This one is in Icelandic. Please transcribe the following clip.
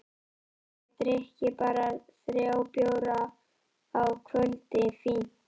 Ef ég drykki bara þrjá bjóra á kvöldi, fínt!